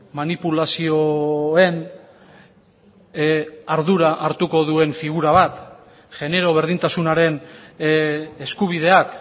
manipulazioen ardura hartuko duen figura bat genero berdintasunaren eskubideak